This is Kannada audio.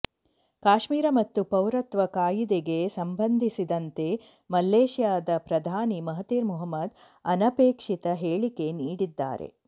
ಕಾಶ್ಮೀರ ಮತ್ತು ಪೌರತ್ವ ಕಾಯಿದೆಗೆ ಸಂಬಂಧಿಸಿದಂತೆ ಮಲೇಷ್ಯಾದ ಪ್ರಧಾನಿ ಮಹತಿರ್ ಮೊಹಮ್ಮದ್ ಅನಪೇಕ್ಷಿತ ಹೇಳಿಕೆ ನೀಡಿದ್ದಾರೆ